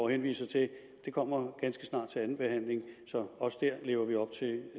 henviser til kommer ganske snart til anden behandling så også dér lever vi op til det